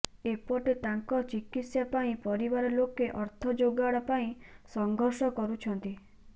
ଏପଟେ ତାଙ୍କ ଚିକିତ୍ସା ପାଇଁ ପରିବାର ଲୋକେ ଅର୍ଥ ଯୋଗାଡ଼ ପାଇଁ ସଂଘର୍ଷ କରୁଛନ୍ତି